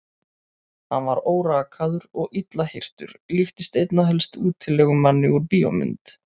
Hann var órakaður og illa hirtur, líktist einna helst útilegumanni úr bíómynd.